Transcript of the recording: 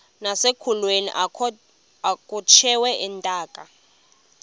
nasekulweni akhutshwe intaka